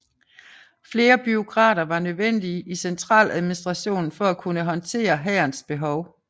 Flere bureaukrater var nødvendige i centraladministrationen for at kunne håndtere hærens behov